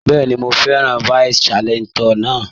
Bẹ́ẹ̀ni, mo fẹ́ràn vice chancellor náà.